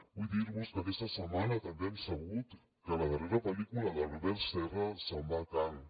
vull dir vos que aquesta setmana també hem sabut que la darrera pel·lícula d’albert serra se’n va a canes